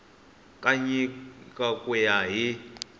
ka nyiko ku ya hi